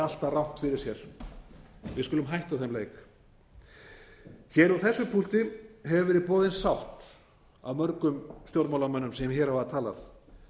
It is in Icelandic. alltaf rangt fyrir sér við skulum hætta þeim leik hér úr þessu púlti hefur verið boðin sátt af mörgum stjórnmálamönnum sem hér hafa talað